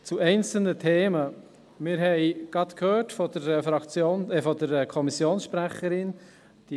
Zu einzelnen Themen: Wir haben es gerade von der Kommissionssprecherin gehört;